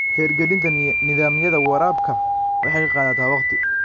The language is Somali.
Hirgelinta nidaamyada waraabka waxay qaadataa waqti.